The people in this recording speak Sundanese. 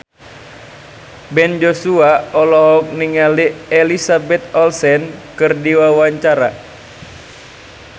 Ben Joshua olohok ningali Elizabeth Olsen keur diwawancara